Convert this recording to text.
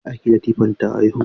Ta aiki Latifah ta haihu?